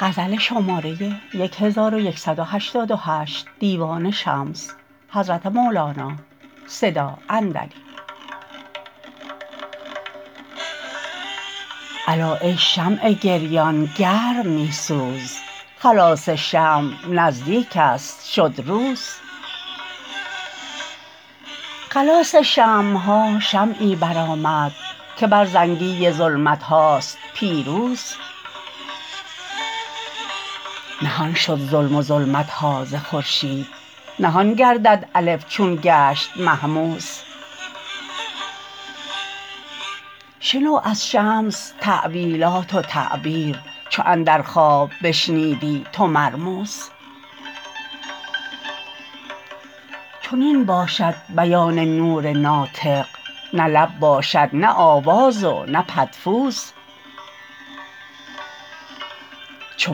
الا ای شمع گریان گرم می سوز خلاص شمع نزدیکست شد روز خلاص شمع ها شمعی برآمد که بر زنگی ظلمت هاست پیروز نهان شد ظلم و ظلمت ها ز خورشید نهان گردد الف چون گشت مهموز شنو از شمس تأویلات و تعبیر چو اندر خواب بشنیدی تو مرموز چنین باشد بیان نور ناطق نه لب باشد نه آواز و نه پدفوز چو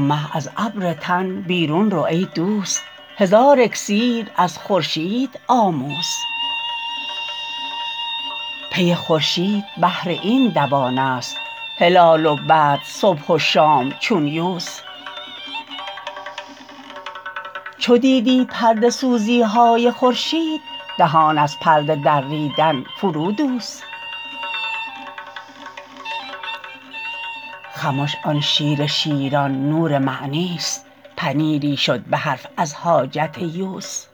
مه از ابر تن بیرون رو ای دوست هزار اکسیر از خورشید آموز پی خورشید بهر این دوانست هلال و بدر صبح و شام چون یوز چو دیدی پرده سوزی های خورشید دهان از پرده دریدن فرودوز خمش آن شیر شیران نور معنیست پنیری شد به حرف از حاجت یوز